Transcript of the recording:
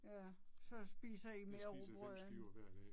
Ja så spiser I mere rugbrød end